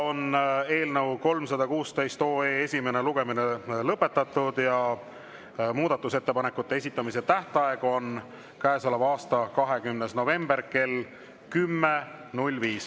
Eelnõu 316 esimene lugemine on lõpetatud ja muudatusettepanekute esitamise tähtaeg on käesoleva aasta 20. november kell 10.05.